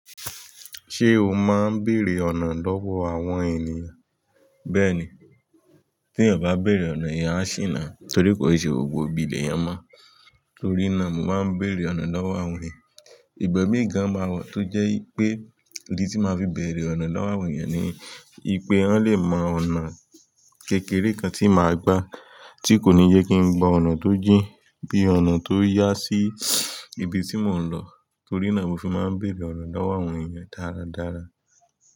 Ṣé o máa ń bèrè ọ̀nà lọ́wọ́ àwọn ènìyàn? Bẹ́ẹ̀ni, tí ènìyàn bá bèerè ọ̀nà, eeyan á sì ona torí kò ṣe gbogbo ibi eeyan mọ́. Torí náà, mo máa ń bèrè ọ̀nà lọ́wọ́ àwọn ènìyàn. Ìgbẹ̀mí gan-an máa wa tó jẹ́ pé idi tí máa fi bèrè ọ̀nà lọ́wọ́ àwọn ènìyàn ni pé wọn lè mọ ọ̀nà kékeré kan tí màá gbà tí kò ní jẹ́ kí n gba ọ̀nà tó jìn bí i ọ̀nà tó yá sí ibi tí mò ń lọ. Torí náà mo fi máa ń béèrè ọ̀nà lọ́wọ́ àwọn èèyàn dáradára.